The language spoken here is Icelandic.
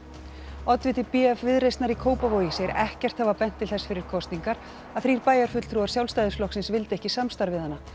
oddviti b f Viðreisnar í Kópavogi segir ekkert hafa bent til þess fyrir kosningar að þrír bæjarfulltrúar Sjálfstæðisflokksins vildu ekki samstarf við hana